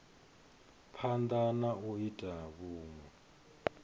phanda na u ita vhunwe